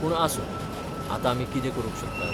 पूण आसूं, आतां आमी कितें करूंक शकतात?